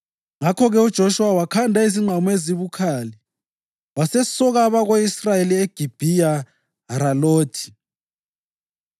Ngakho-ke uJoshuwa wakhanda izingqamu ezibukhali wasesoka abako-Israyeli eGibhiya Haralothi.